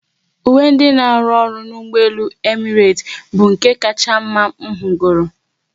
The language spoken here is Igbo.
Uwe ndị n'aru ọrụ n'ụgbọelu Emirates bụ nke kacha mma m hụgoro